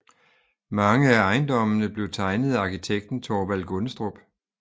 Mange af ejendommene blev tegnet af arkitekten Thorvald Gundestrup